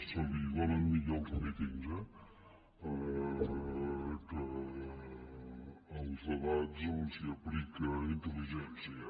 se li donen millor els mítings eh que els debats on s’aplica intel·ligència